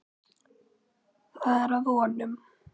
Það er að vonum.